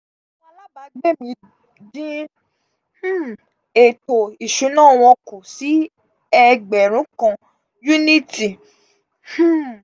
àwọn alábàágbé mí dín um ètò ìṣúná wọn kù sí ẹgbẹ̀rún kan yúníítì um